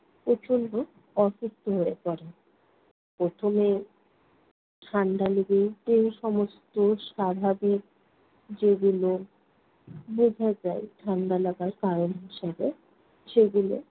প্রচন্ড অসুস্থ হয়ে পড়ে। প্রথমে ঠাণ্ডা লেগে যে সমস্ত স্বাভাবিক যেগুলো বোঝা যায় ঠান্ডা লাগার কারণ হিসেবে সেগুলো